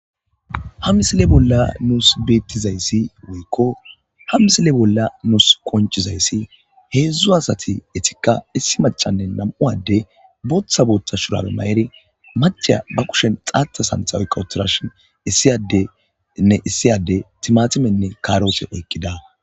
Ha misile bolla nuus beettizayssi woykko ha misile bolla nuus konchizayssi heedzdzu asati etikka issi macanne nam7uwade booththa boota shurabe ma7eri maceya ba kushen xaata santha oy qawutirashin issiyadenne issiyade timatimenne kaaroose oyqqida